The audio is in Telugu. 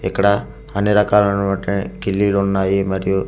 ఇక్కడ అన్ని రకాలోనవటి కిల్లీలు ఉన్నాయి మరియు--